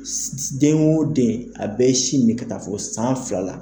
Den o den a bɛ si min ka taa fɔ san filala